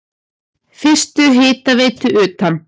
Fyrstu hitaveitu utan